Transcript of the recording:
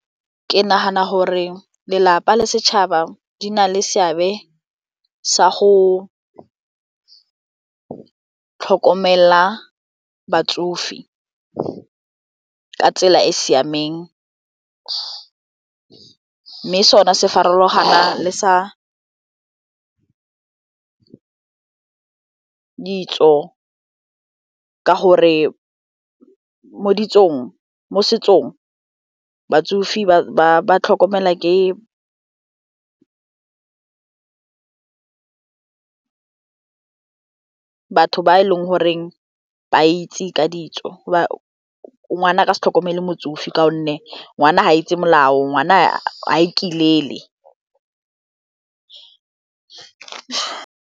Ke nagana gore lelapa le setšhaba di na le seabe sa go tlhokomela batsofe ka tsela e e siameng mme sone se farologana le sa ditso ka gore mo setsong batsofe ba tlhokomelwa ke batho ba e leng goreng ba itse ka ditso ngwana a ka se tlhokomele motsofe ka gonne ngwana ga itse molao ngwana a ikilele.